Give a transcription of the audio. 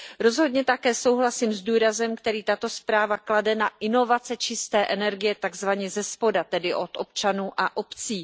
Rozhodně také souhlasím s důrazem, který tato zpráva klade na inovace čisté energie takzvaně zespoda, tedy od občanů a obcí.